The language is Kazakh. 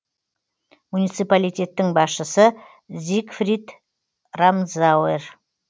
муниципалитеттің басшысы зигфрид рамзауэр